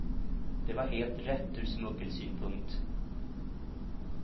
Det var helt rätt ur smuggelsynpunkt.